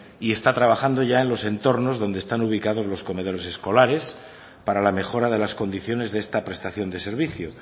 y está trabajando ya en los entornos donde están ubicados los comedores escolares para la mejora de las condiciones de esta prestación de servicio